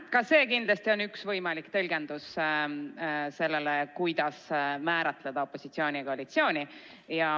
Ka see on kindlasti üks võimalik tõlgendus, kuidas määratleda opositsiooni ja koalitsiooni.